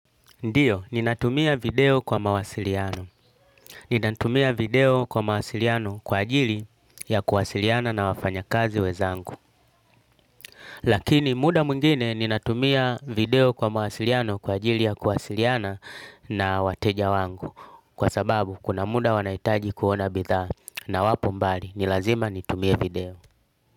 Ndiyo, ninatumia video kwa mawasiliano. Ninatumia video kwa mawasiliano kwa ajili ya kuwasiliana na wafanya kazi wezangu. Lakini muda mwingine ninatumia video kwa mawasiliano kwa ajili ya kuwasiliana na wateja wangu. Kwa sababu, kuna muda wanahitaji kuona bidhaa. Na wapo mbali, ni lazima nitumie video.